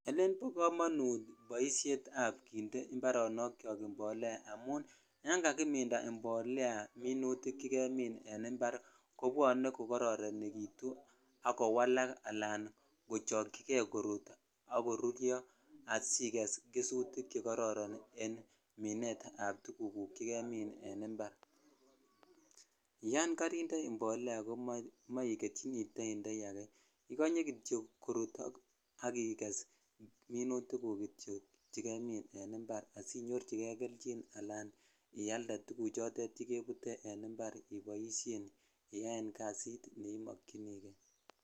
Elen bo komonut ab kinde imparonok kyok yon kakiminda imbolea minutik che kemin en impar kobwone kokoronekitu ak kowalak ala kochokchikei korut ak koruryo asiges gesutik chekororon en minet ab tuguk guk che kemin en impar yon korinde imbolea ko monkeying ko toindoi akee ikonye kityo korut agiges minutiguk kityok chekemin en impar asinyojikei kelchin ala asialde tuguchoton chekebutee en impar iboishen iyan kasit ne imokyini kei.